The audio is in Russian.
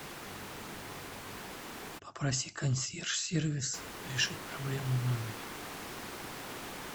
попроси консьерж сервис решить проблему в номере